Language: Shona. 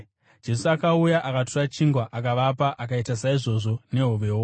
Jesu akauya, akatora chingwa akavapa, akaita saizvozvo nehovewo.